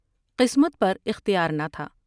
قسمت پر اختیار نہ تھا ۔